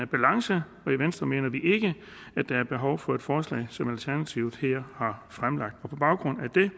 balance og i venstre mener vi ikke at der er behov for et forslag som det alternativet her har fremsat på baggrund af det